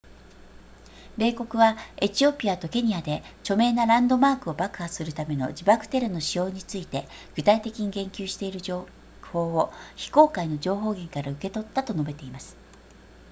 米国はエチオピアとケニアで著名なランドマークを爆破するための自爆テロの使用について具体的に言及している情報を非公開の情報源から受け取ったと述べています